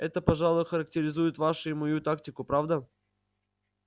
это пожалуй характеризует вашу и мою тактику правда